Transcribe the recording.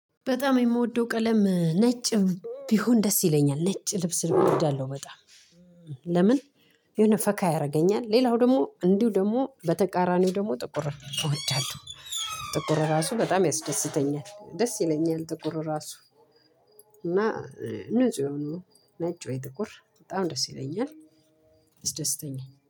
በጣም የምወደው ቀለም ነጭም ቢሆን ደስ ይለኛል ነጭ ልብስ እወዳለሁ በጣም። ለምን? የሆነ ፈካ ያደርገኛል ሌላው ደሞ እንዲሁ ደግሞ በተቃራኒው ደግሞ ጥቁር እወዳለሁ። ጥቁር ራሱ በጣም ያስደስተኛል ደስ ይለኛል ጥቁር ራሱ። እና ንጹህ የሆኑ ነጭ ወይ ጥቁር በጣም ደስ ይለኛል። አስደስተኛ